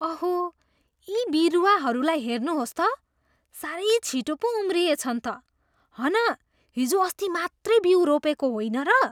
अहो, यी बिरुवाहरूलाई हेर्नुहोस् त, साह्रै छिटो पो उम्रिएछन् त। हन हिजोअस्ति मात्रै बिउ रोपेको होइन र?